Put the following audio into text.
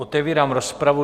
Otevírám rozpravu.